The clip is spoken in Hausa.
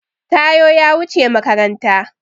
Taiwo ya wuce makaranta.